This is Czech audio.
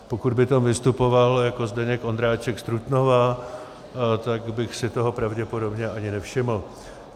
Pokud by tam vystupoval jako Zdeněk Ondráček z Trutnova, tak bych si toho pravděpodobně ani nevšiml.